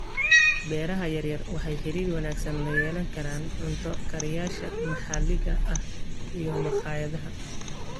Beeraha yaryar waxay xiriir wanaagsan la yeelan karaan cunto kariyayaasha maxalliga ah iyo makhaayadaha.